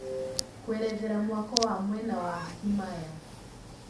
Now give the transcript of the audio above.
kũerethera mwako wa mwena wa himaya